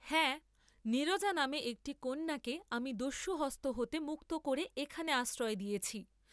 হাঁ, নীরজা নামে একটি কন্যাকে আমি দস্যুহস্ত হতে মুক্ত করে এখানে আশ্রয় দিয়েছি।